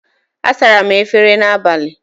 Asara m efere n'abalị.